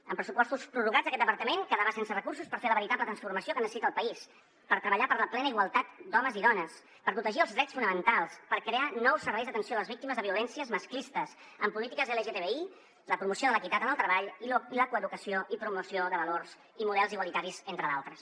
amb pressupostos prorrogats aquest departament quedava sense recursos per fer la veritable transformació que necessita el país per treballar per la plena igualtat d’homes i dones per protegir els drets fonamentals per crear nous serveis d’atenció a les víctimes de violències masclistes en polítiques lgtbi la promoció de l’equitat en el treball i la coeducació i promoció de valors i models igualitaris entre d’altres